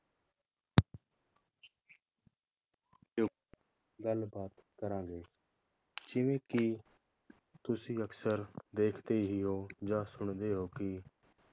ਗੱਲਬਾਤ ਕਰਾਂਗੇ ਜਿਵੇ ਕਿ ਤੁਸੀਂ ਅਕਸਰ ਦੇਖਦੇ ਹੀ ਹੋ ਜਾਂ ਸੁਣਦੇ ਹੋ ਕਿ